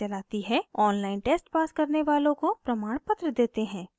online test pass करने वालों को प्रमाणपत्र देते हैं